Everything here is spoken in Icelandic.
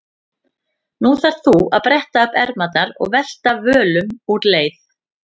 Nú þarft þú að bretta upp ermarnar og velta völum úr leið.